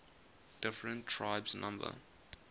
different tribes number